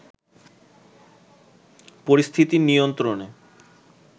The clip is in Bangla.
পরিস্থিতি নিয়ন্ত্রণে